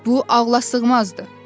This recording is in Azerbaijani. Bu ağlasığmazdır.